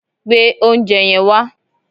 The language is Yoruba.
Gbé oúnjẹ yẹn wá